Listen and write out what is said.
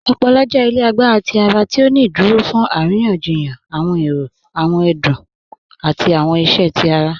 Ọpọ̀lọ̀ jẹ́ ilẹ̀ àgbàrá tí ara ti ó ní ìdúró fún arìyàn-jìyàn awọn èrò, awọn ẹdún, àti awọn ìṣẹ́ tí ara